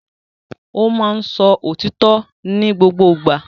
Ó máa ń sọ òtítọ́ ní gbogbo ìgbà